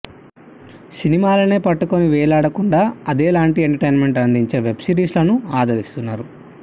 సినిమాల్నే పట్టుకుని వేలాడకుండా అదేలాంటి ఎంటర్ టైన్మెంట్ అందించే వెబ్ సిరీస్లనూ ఆదరిస్తున్నారు